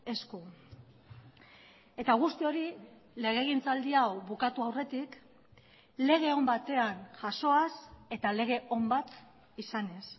esku eta guzti hori legegintzaldi hau bukatu aurretik lege on batean jasoaz eta lege on bat izanez